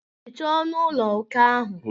Hichaa ọnụ ụlọ okè ahụ.